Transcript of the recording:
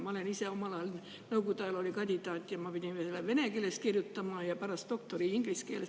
Ma ise omal ajal, Nõukogude ajal olin kandidaat ja pidin kirjutama vene keeles ja pärast doktori inglise keeles.